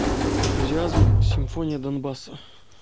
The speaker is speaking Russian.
энтузиазм симфония донбасса